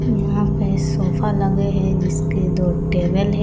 यहाँ पे सोफा लगे है जिसके दो टेबल है--